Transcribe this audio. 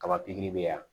Kaba pikiri bɛ yan